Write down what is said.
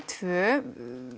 tvö